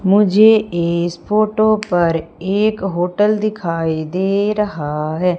मुझे इस फोटो पर एक होटल दिखाई दे रहा है।